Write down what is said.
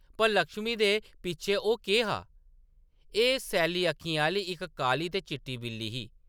पर लक्ष्मी दे पिच्छें ओह् केह्‌ हा ? एह्‌‌ सैल्ली अक्खियें आह्‌‌‌ली इक काली ते चिट्टी बिल्ली ही ।